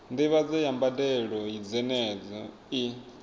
ndivhadzo ya mbadelo dzenedzo i